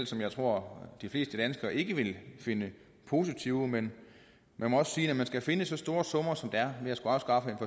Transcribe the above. som jeg tror de fleste danskere ikke vil finde positive men man må også sige at når man skal finde så store summer som der er ved at afskaffe